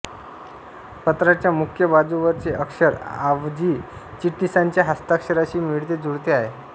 पत्राच्या मुख्य बाजूवरचे अक्षर आवजी चिटणिसांच्या हस्ताक्षराशी मिळतेजुळते आहे